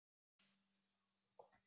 Hvað kostar þetta?